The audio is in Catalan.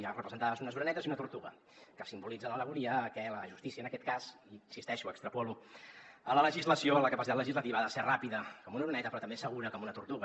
hi ha representades unes orenetes i una tortuga que simbolitzen l’al·legoria que la justícia en aquest cas i hi insisteixo ho extrapolo a la legislació en la capacitat legislativa ha de ser ràpida com una oreneta però també segura com una tortuga